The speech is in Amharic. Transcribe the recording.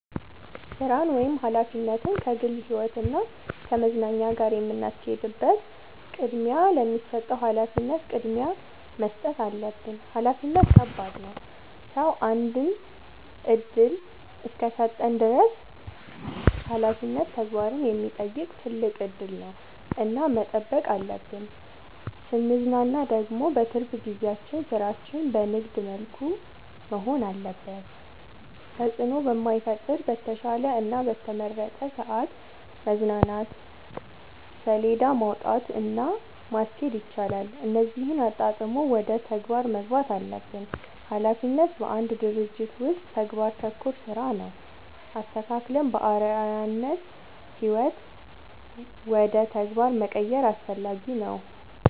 ስራን ወይም ሀላፊነትን ከግል ህይወት እና ከመዝናኛ ጋር የምናስኬድበት ቅድሚያ ለሚሰጠው ሀላፊነት ቅድሚያ መስጠት አለብን። ሀላፊነት ከባድ ነው ሰው አንድ እድል እስከሰጠን ድረስ ሀላፊነት ተግባርን የሚጠይቅ ትልቅ እድል ነው እና መጠበቅ አለብን። ስንዝናና ደግሞ በትርፍ ጊዜያችን ስራችን በንግድ መልኩ መሆን አለበት ተጽዕኖ በማይፈጥር በተሻለ እና በተመረጠ ሰዐት መዝናናት ሴለዳ ማውጣት እና ማስኬድ ይቻላል እነዚህን አጣጥሞ ወደ ተግባር መግባት አለብን። ሀላፊነት በአንድ ድርጅት ውስጥ ተግባር ተኮር ስራ ነው። አስተካክለን በአርዐያነት ህይወት ውደ ተግባር መቀየር አስፈላጊ ነው።